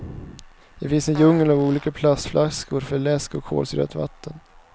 Det finns en djungel av olika plastflaskor för läsk och kolsyrat vatten.